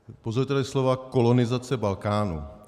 Použil tady slova kolonizace Balkánu.